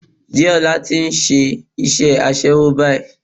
Déọlá ti nse isé aṣẹ́wó báyìí